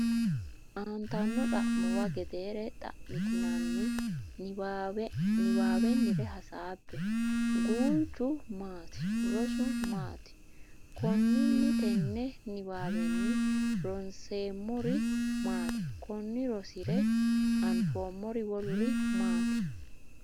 Aantanno xa’muwa gedeere xa’mitinanni niwaawennire hasaabbe Guulchu maati? Rosu maati? Konninni tenne niwaawenni ronseemmori maati? Konni rosire anfoommori woluri maati?